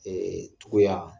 togoya